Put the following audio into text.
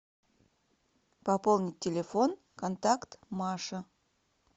пополнить телефон контакт маша